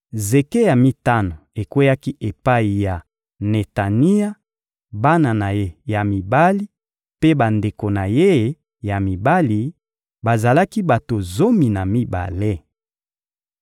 Zeke ya mitano ekweyaki epai ya Netania, bana na ye ya mibali mpe bandeko na ye ya mibali: bazalaki bato zomi na mibale.